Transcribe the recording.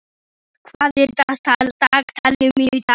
Unnur, hvað er í dagatalinu mínu í dag?